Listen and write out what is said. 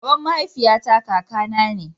baban mahaifiya ta kaka na ne